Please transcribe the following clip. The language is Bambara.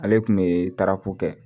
Ale kun be tarako kɛ